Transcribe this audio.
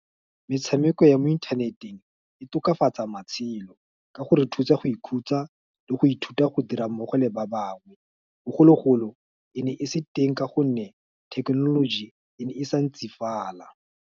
Metshameko ya mo inthaneteng, e tokafatsa matshelo, ka gore thusa go ikhutsa, le go ithuta go dira mmogo le ba bangwe, bogologolo, e ne e se teng, ka gonne, thekenoloji e ne e sa ntsi fala.